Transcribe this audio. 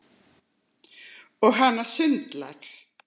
Og hana sundlar.